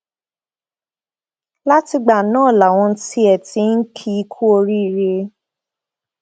látìgbà náà làwọn tiẹ ti ń kì í kú oríire